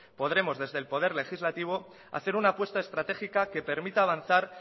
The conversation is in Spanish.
podremos desde el poder legislativo hacer una puesta estratégica que permita avanzar